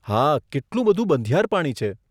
હા, કેટલું બધું બંધિયાર પાણી છે.